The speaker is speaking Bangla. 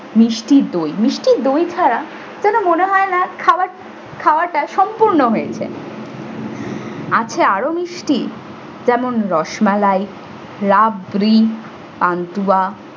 মিষ্টি দই। মিষ্টি দই ছাড়া কোন মনে হয় না খাবার খাওয়াটা সম্পূর্ণ হয়েছে। আছে আরো মিষ্টি যেমন- রসমালাই, রাবরি, পান্তুয়া,